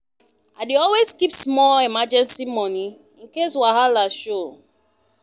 I dey always keep small emergency money in case wahala show.